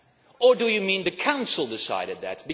Or do you mean the Council decided that?